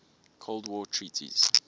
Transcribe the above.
cold war treaties